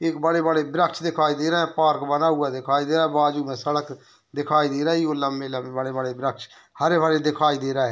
एक बड़े-बड़े वृक्ष दिखाई दे रहे हैं | पार्क बना हुआ दिखाई दे रहा है बाजू में सड़क दिखाई दे रही है वो लंबी-लंबी बड़े-बड़े वृक्ष हरे-भरे दिखाई दे रहा है ।